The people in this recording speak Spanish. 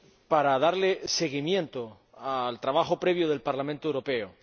para darle seguimiento al trabajo previo del Parlamento Europeo.